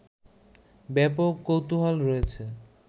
ব্যাপক কৌতুহল রয়েছে